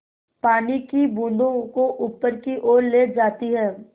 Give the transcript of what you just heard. पानी की बूँदों को ऊपर की ओर ले जाती है